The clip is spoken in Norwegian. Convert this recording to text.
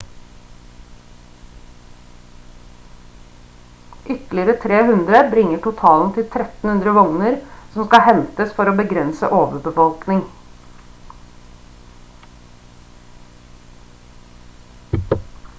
ytterligere 300 bringer totalen til 1300 vogner som skal hentes for å begrense overbefolkning